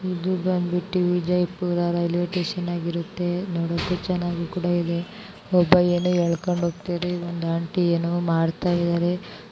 ಇದು ಬಂದು Vijayapura railway station ಆಗಿರುತ್ತೆ ನೋಡಕ್ಕೂ ಇದು ಚೆನ್ನಾಗಿಕೂಡ ಇದೆ ಇಲ್ಲಿ ಒಬ್ಬ ಏನು ಹೇಳಿಕೊಂಡು ಹೋಗ್ತಾನೆ ಆಂಟಿ ಏನು ಮಾಡ್ತಾ ಇದ್ದಾರೆ